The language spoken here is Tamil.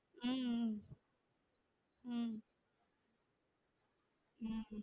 உம் உம் உம் உம்